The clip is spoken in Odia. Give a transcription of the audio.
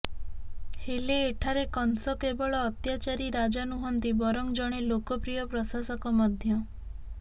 ହେଲେ ଏଠାରେ କଂସ କେବଳ ଅତ୍ୟାଚାରୀ ରାଜା ନୁହନ୍ତି ବରଂ ଜଣେ ଲୋକପ୍ରିୟ ପ୍ରଶାସକ ମଧ୍ୟ